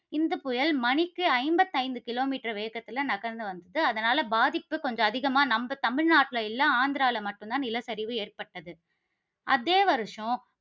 இந்த புயல் மணிக்கு ஐம்பத்து ஐந்து கிலோமீட்டர் வேகத்தில நகர்ந்து வந்தது. அதனால, பாதிப்பு கொஞ்சம் அதிகமா நம்ம தமிழ்நாட்டில இல்ல, ஆந்திரால மட்டும் தான் நிலச்சரிவு ஏற்பட்டது. அதே வருஷம்